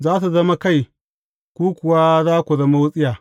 Za su zama kai, ku kuwa za ku zama wutsiya.